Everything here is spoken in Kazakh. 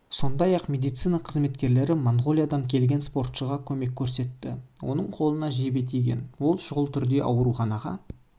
сондай-ақ медицина қызметкерлері монғолиядан келген спортшыға көмек көрсетті оның қолына жебе тиген ол шұғыл түрде аурухана